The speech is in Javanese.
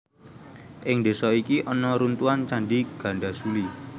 Ing désa iki ana runtuhan Candhi Gandasuli